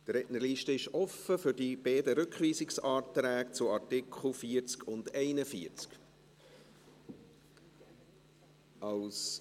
Die Rednerliste ist offen zu den beiden Anträgen zu Artikel 40 und 41.